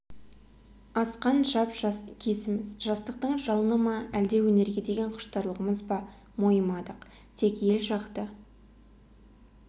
асқан жап-жас кезіміз жастықтың жалыны ма әлде өнерге деген құштарлығымыз ба мойымадық тек ел жақты